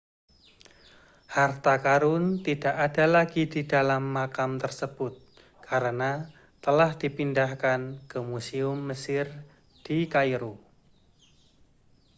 harta karun tidak ada lagi di dalam makam tersebut karena telah dipindahkan ke museum mesir di kairo